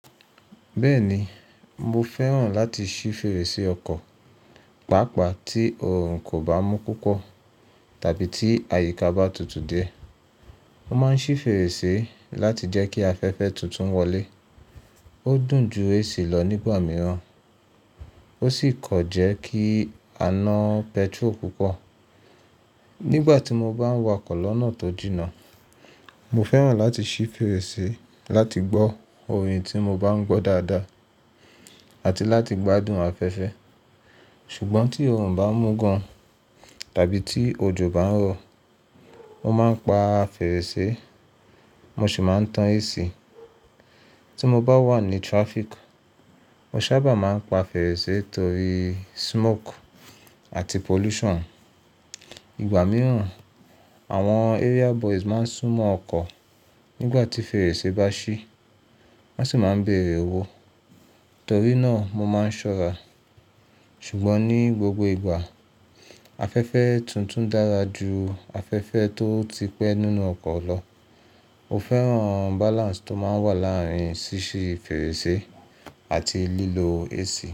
Bẹ́ẹ̀ni, mo fẹ́ràn láti ṣí fèrèsé ọkọ̀, pàápàá tí òòrùn kò bá mú púpọ̀ tàbí tí àyíká bá tutù dé. Mo máa ń ṣí fèrèsé láti jẹ́ kí afẹ́fẹ́ tuntun wọlé. Ó dùn ju AC lọ nígbà mìíràn, ó sì kọ jẹ́ kí a ná petrol púpọ̀. Nígbà tí mo bá ń wa'kọ̀ lọ́nà tó jìnnà, mo fẹ́ràn láti ṣí fèrèsé láti gbọ́ orin tí mo bá ń gbọ́ dáadáa àti láti gbádùn afẹ́fẹ́. Ṣùgbọ́n tí òòrùn bá mú gan tàbí tí òjò bá ń rọ̀, mo máa ń pa fèrèsé, mo sì máa ń tan AC. Tí mo bá wà ní traffic, mo sábà máa ń pa fèrèsé torí smoke àti pollution. Ìgbà mìíràn, àwọn area boys máa ń súnmọ́ ọkọ̀ nígbà tí fèrèsé bá ṣí, wọ́n sì máa ń bèèrè owó. Torí náà mo máa ń ṣọ́ra. Ṣùgbọ́n ní gbogbo ìgbà, afẹ́fẹ́ tuntun dára ju afẹ́fẹ́ tó ti pẹ́ nínú ọkọ̀ lọ. Mo fẹ́ràn balance tó máa ń wà láàárín ṣíṣí fèrèsé àti lílo AC.